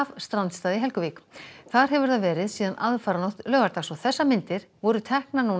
strandstað í Helguvík þar hefur það verið síðan aðfararnótt laugardags þessar myndir voru teknar nú